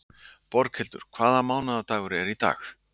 Boghildur, hvaða mánaðardagur er í dag?